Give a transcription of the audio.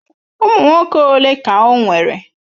Ụmụ nwoke ole ka o nwere?